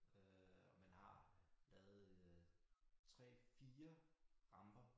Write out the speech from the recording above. Øh og man har lavet øh 3 4 ramper